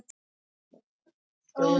Rauðavaði